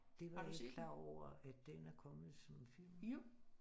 Det var jeg ikke klar over at den er kommet som film